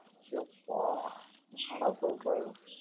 எப்பா ஏன்னா டா சொல்ற